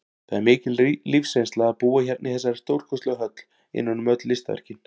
Það er mikil lífsreynsla að búa hérna í þessari stórkostlegu höll, innan um öll listaverkin.